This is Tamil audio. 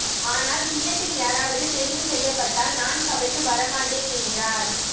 ஆனால் கிண்ணத்தில் யாராவது தெரிவு செய்யப்பட்டால் நான் சபைக்கு வரமாட்டேன் என்றார்